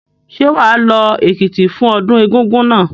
Ṣé wà á lọ Èkìtì fún ọdún Egúngún náà?